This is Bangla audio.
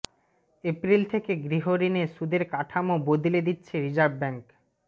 এপ্রিল থেকে গৃহঋণে সুদের কাঠামো বদলে দিচ্ছে রিজার্ভ ব্যাঙ্ক